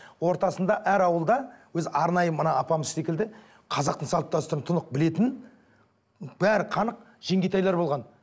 ортасында әр ауылда өзі арнайы мына апамыз секілді қазақтың салт дәстүрін тұнық білетін бәрі қанық жеңгетайлар болған